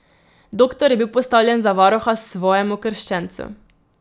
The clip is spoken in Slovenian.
Doktor je bil postavljen za varuha svojemu krščencu.